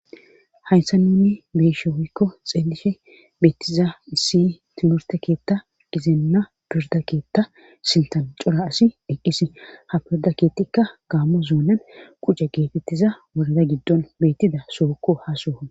hayssa ninni beeshe hoykko xeelishe beettiza issi timurte keetta gizeenna pirda keetta sintan cora asi eqqis ha pirda keettikka gaammo zuonan qucca geetettiza worada giddon beettida soukko hasohon